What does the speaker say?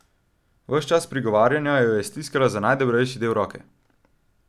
Ves čas prigovarjanja jo je stiskala za najdebelejši del roke.